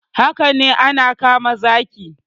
Haka ne ana kama zaki